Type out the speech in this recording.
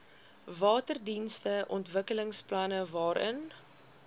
waterdienste ontwikkelingsplanne waarin